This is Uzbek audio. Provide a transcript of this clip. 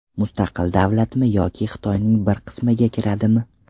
Mustaqil davlatmi yoki Xitoyning bir qismiga kiradimi?